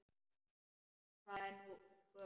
Hvað er hún gömul?